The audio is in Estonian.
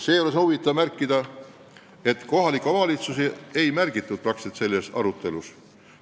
Seejuures on huvitav märkida, et kohalikke omavalitsusi peaaegu üldse ei mainitud.